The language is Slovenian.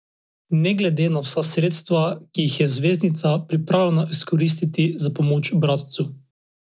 Ne glede na vsa sredstva, ki jih je zvezdnica pripravljena izkoristiti za pomoč bratcu.